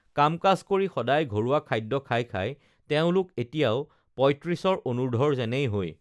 কাম কাজ কৰি সদায় ঘৰুৱা খাদ্য খাই খাই তেওঁলোক এতিয়াও পয়ত্ৰিশৰ অনূৰ্ধৰ যেনেই হৈ